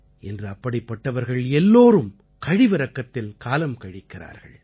இன்று அப்படிப்பட்டவர்கள் எல்லோரும் கழிவிரக்கத்தில் காலம் கழிக்கிறார்கள்